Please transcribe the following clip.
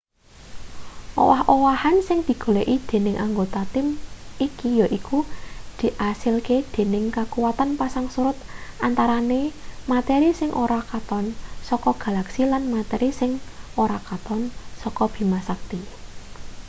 owah-owahan sing digoleki dening anggota tim iki yaiku diasilke dening kakuwatan pasang surut antarane materi sing ora katon saka galaksi lan materi sing ora katon saka bima sakti